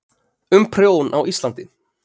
um prjón á íslandi